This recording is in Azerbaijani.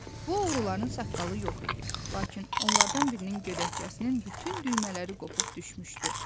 Bu oğruların saqqalı yox idi, lakin onlardan birinin gödəkçəsinin bütün düymələri qopub düşmüşdü.